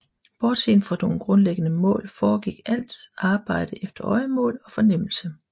Bortset fra nogle grundlæggende mål foregik alt arbejde efter øjemål og fornemmelse